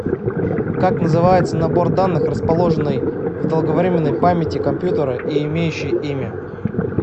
как называется набор данных расположенный в долговременной памяти компьютера и имеющий имя